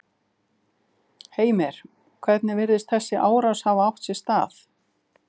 Heimir: Hvernig virðist þessi árás hafa átt sér stað?